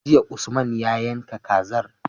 Jiya usman ya yanka kazar